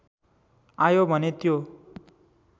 आयो भने त्यो